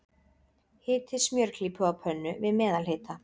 Hitið smjörklípu á pönnu, við meðalhita.